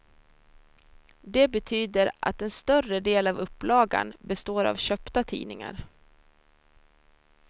Det betyder att en större del av upplagan består av köpta tidningar.